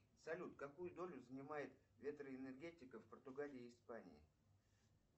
салют какую долю занимает ветроэнергетика в португалии и испании